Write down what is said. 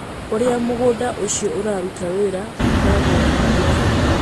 Ũrĩa mũgũnda ũcio ũraruta wĩra ũkoragwo wĩ mũhũthũ.